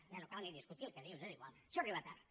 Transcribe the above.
ja no cal ni discutir el que dius és igual això arriba tard